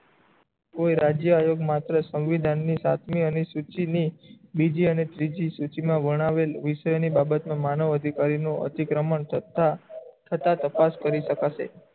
તો એ રાજ્ય આયોગ્ય માત્ર સંવિધાન ની સાથ ની અને સૂચી ની બીજી અને ત્રીજી સુચના વરવાળું વિષય ના બાબતે માનવ અધિકારી નું અતિક્રમણ છતાં હતા તપાસ કરી શકાશે